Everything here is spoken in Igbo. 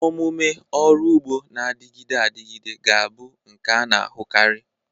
Omume ọrụ ugbo na-adịgide adịgide ga-abụ nke a na-ahụkarị.